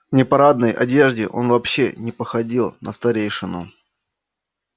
в непарадной одежде он вообще не походил на старейшину